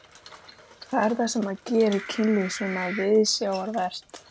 Hvað er það sem gerir kynlíf svona viðsjárvert?